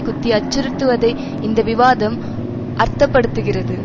குத்தி அச்சுறுத்துவதை இந்த விவாதம் அர்த்த படுத்துகிறது